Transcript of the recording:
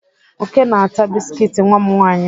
Oke na-ata biskit nwa m nwaanyị.